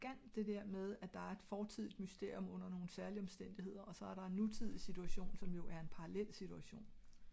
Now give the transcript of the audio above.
der bare ogs meget elegant at der er et foretidigt mysterium under nogle særlige omstændigheder og så er det et nutidigt situation som er jo en parallel situation